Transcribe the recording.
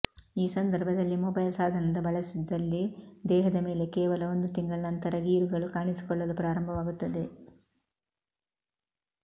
ಈ ಸಂದರ್ಭದಲ್ಲಿ ಮೊಬೈಲ್ ಸಾಧನದ ಬಳಸಿದಲ್ಲಿ ದೇಹದ ಮೇಲೆ ಕೇವಲ ಒಂದು ತಿಂಗಳ ನಂತರ ಗೀರುಗಳು ಕಾಣಿಸಿಕೊಳ್ಳಲು ಪ್ರಾರಂಭವಾಗುತ್ತದೆ